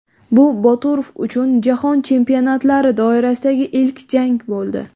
Bu Boturov uchun jahon chempionatlari doirasidagi ilk jang bo‘ldi.